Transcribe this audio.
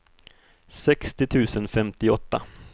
sextio tusen femtioåtta